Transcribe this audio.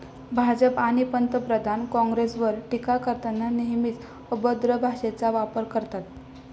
भाजप आणि पंतप्रधान काँग्रेसवर टीका करताना नेहमीच अभद्र भाषेचा वापर करतात.